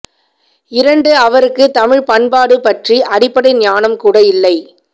இரண்டு அவருக்கு தமிழ் பண்பாடு பற்றி அடிப்படை ஞானம் கூட இல்லை